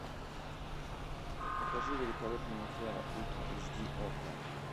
покажи великолепная афера ультра эйч ди окко